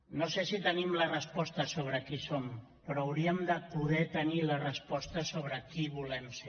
no sé si tenim la resposta sobre qui som però hauríem de poder tenir la resposta sobre qui volem ser